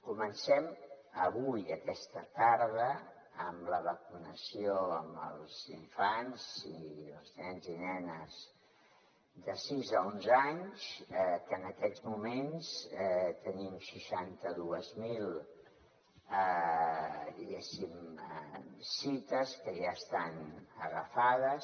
comencem avui aquesta tarda amb la vacunació als infants els nens i nenes de sis a onze anys que en aquests moments tenim seixanta dos mil diguéssim cites que ja estan agafades